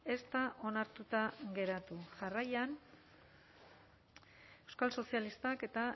ez da onartuta geratu jarraian euskal sozialistak eta